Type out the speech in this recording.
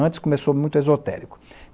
Antes começou muito esotérico.